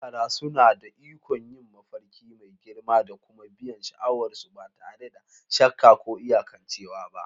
Yara suna da ikon yin mafarki mai girma da kuma biyan sha'awar su ba tare da shakka ko iyakancewa ba.